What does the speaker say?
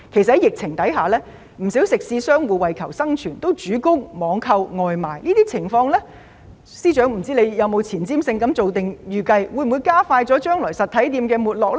在疫情之下，不少食肆商戶為求生存，主攻網購外賣，但我不知道司長有沒有具前瞻性地預計，這種情況會否加快將來實體店的沒落。